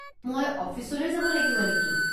মই অফিচলৈ যাব লাগিব নেকি?